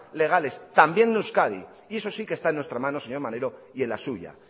legales también en euskadi y eso sí que está en nuestra mano señor maneiro y en la suya